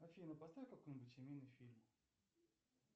афина поставь какой нибудь семейный фильм